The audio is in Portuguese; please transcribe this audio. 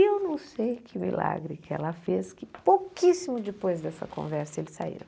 E eu não sei que milagre que ela fez que pouquíssimo depois dessa conversa eles saíram.